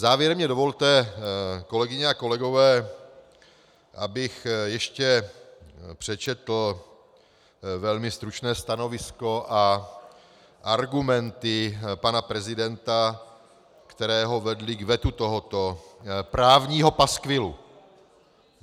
Závěrem mi dovolte, kolegyně a kolegové, abych ještě přečetl velmi stručné stanovisko a argumenty pana prezidenta, které ho vedly k vetu tohoto právního paskvilu.